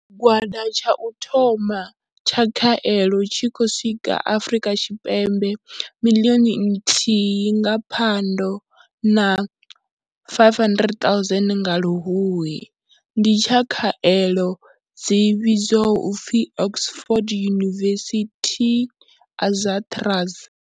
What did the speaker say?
Tshigwada tsha u thoma tsha khaelo tshi khou swika Afrika Tshipembe, miḽioni nthihi nga Phando na 500 000 nga Luhuhi, ndi tsha khaelo dzi vhidzwaho u pfi Oxford University-AstraZ.